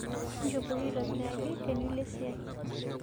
Njopoi aitibiraki tunulo siai